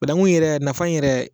Bananku yɛrɛ, a nafa in yɛrɛ.